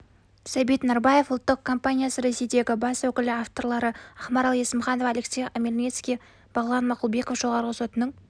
сәбит нарбаев ұлттық компаниясы ресейдегі бас өкілі авторлары ақмарал есімханова алексей омельницкий бағлан мақұлбеков жоғарғы сотының